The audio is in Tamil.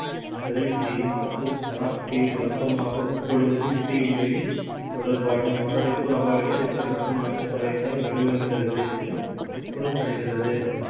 green tea மற்றும் black tea வழக்கமாக உட்கொள்வது இது இல்லை. தொடர்பான மாரடைப்பு அபாயத்தை கணிசமாக குறைக்க வழிவகுக்கிறது என்று கூறப்படுகிறது.